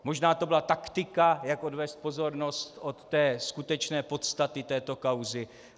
Možná to byla taktika, jak odvést pozornost od té skutečné podstaty této kauzy.